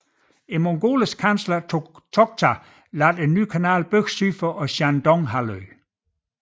Mongolernes kansler Toghta lod bygge en ny kanal syd for Shandonghalvøen